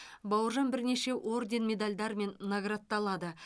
бауыржан бірнеше орден медальдармен наградталады